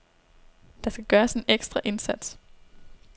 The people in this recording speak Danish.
Der skal gøres en ekstra indsats.